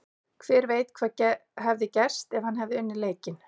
Hver veit hvað hefði gerst ef hann hefði unnið leikinn?